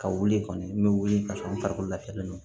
Ka wuli kɔni n bɛ wuli ka sɔrɔ n farikolo lafiyalen don